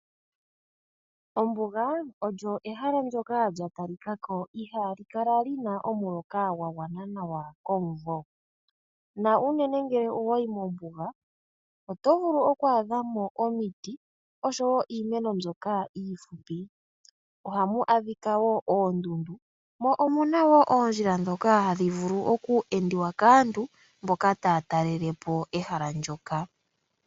Ombuga olyo ehala ndyoka lya talikako ihali kala lina omuloka gwa gwana nawa komuvo na unene ngele owayi mombuga oto vulu oku adha mo omiti niimeno mbyoka iifupi, ohamu adhika noondundu mo omuna oondjila ndhoka hadhi vulu oku endiwa kaantu mboka taya talelepo ehala ndyoka.